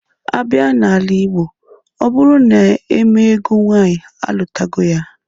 A bịa n'ala Igbo, ọ bụrụ na emee ego nwaanyị, alụtago ya.